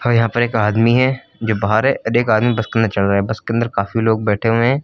ह यहां पर एक आदमी है जो बाहर है और एक आदमी बस के अंदर चढ़ रहा है। बस के अंदर काफी लोग बैठे हुए हैं।